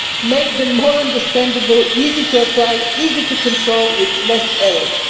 Make them more understandable, easy to apply and easy to control, with fewer errors.